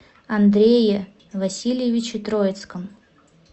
андрее васильевиче троицком